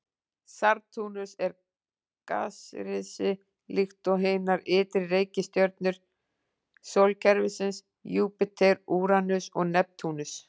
Satúrnus er gasrisi líkt og hinar ytri reikistjörnur sólkerfisins, Júpíter, Úranus og Neptúnus.